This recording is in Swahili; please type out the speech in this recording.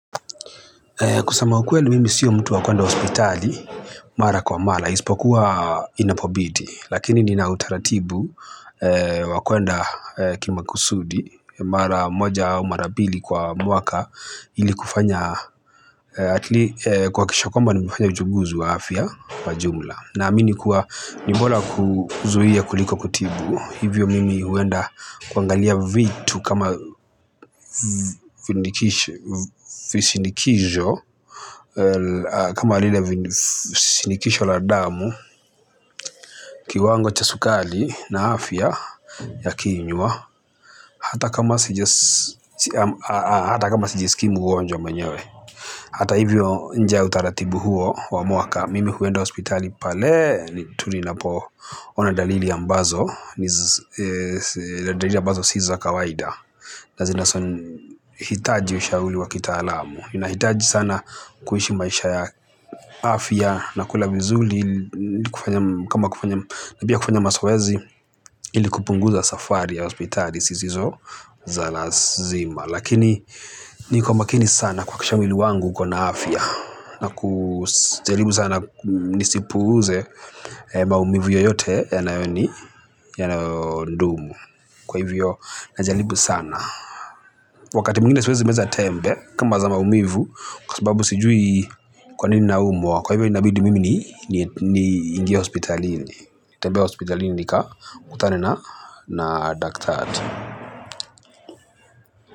Kusama ukweli mimi sio mtu wa kuenda hospitali, mara kwa mara, isipokuwa inapobidi, lakini nina utaratibu wa kwenda kima kusudi, mara moja au mara mbili kwa mwaka ili kufanya, atli kuhakisha kwamba nimefanya uchunguzi wa afya kwa jumla. Naamini kuwa ni bora kuzuia kuliko kutibu. Hivyo mimi huenda kuangalia vitu kama vishindikisho kama vile vishindikisho la damu kiwango cha sukari na afya ya kinywa. Hata kama sijiskii mgonjwa mwenyewe. Hata hivyo nje ya utaratibu huo wa muaka mimi huenda hospitali pale tu ninapoona dalili ambazo ni dalili ambazo si za kawaida na zinahitaji ushauri wa kitaalamu ninahitaji sana kuishi maisha ya afya na kula vizuri kama kufanya na pia kufanya mazoezi ili kupunguza safari ya hospitali zisizo za lazima lakini ni kwa makini sana kuhakikisha mwili wangu uko na afya na kujaribu sana nisipuuze maumivu yoyote yanayoni yanayoni dumu kwa hivyo najaribu sana wakati mwingine siwezi meza tembe kama za maumivu kwa sababu sijui kwa nini na umwa kwa hivyo inabidi mimi ni niingie hospitalini tembee hospitalini nikakutane na na daktari.